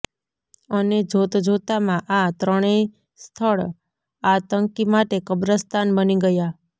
અને જોતજોતામાં આ ત્રણેય સ્થળ આતંકી માટે કબ્રસ્તાન બની ગયા